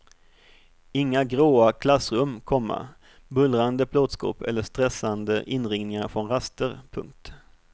Inga gråa klassrum, komma bullrande plåtskåp eller stressande inringningar från raster. punkt